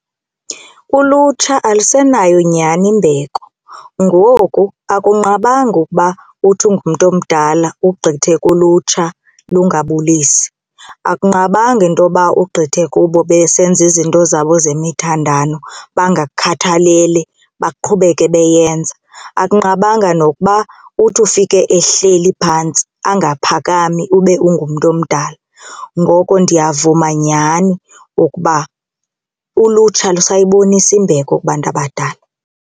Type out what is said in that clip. Ulutsha alusenayo nyhani imbeko. Ngoku akunqabanga ukuba uthi ungumntu omdala ugqithe kulutsha lungabulisi, akunqabanga into yoba ugqithe kubo besenza izinto zabo zemithandano bangakukhathaleli baqhubeke beyenza. Akunqabanga nokuba uthi ufike ehleli phantsi angaphakami ube ungumntu omdala ngoko ndiyavuma nyhani ukuba ulutsha lusayibonisa imbeko kubantu abadala.